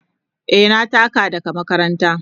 Eh, na taka daga makaranta.